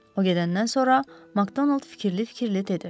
O gedəndən sonra Makdonald fikirli-fikirli dedi.